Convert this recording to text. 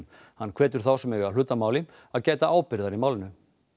hann hvetur þá sem eiga hlut að máli að gæta ábyrgðar í málinu